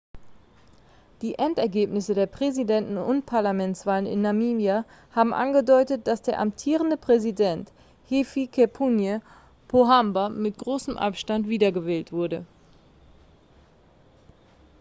die endergebnisse der präsidenten und parlamentswahlen in namibia haben angedeutet dass der amtierende präsident hifikepunye pohamba mit großem abstand wiedergewählt wurde